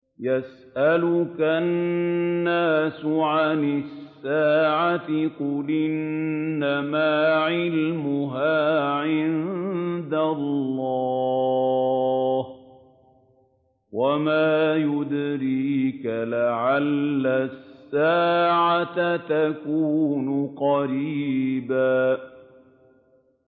يَسْأَلُكَ النَّاسُ عَنِ السَّاعَةِ ۖ قُلْ إِنَّمَا عِلْمُهَا عِندَ اللَّهِ ۚ وَمَا يُدْرِيكَ لَعَلَّ السَّاعَةَ تَكُونُ قَرِيبًا